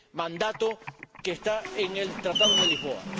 mandato que está en el Tratado de Lisboa.